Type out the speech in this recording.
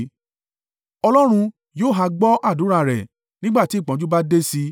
Ọlọ́run yóò ha gbọ́ àdúrà rẹ̀, nígbà tí ìpọ́njú bá dé sí i?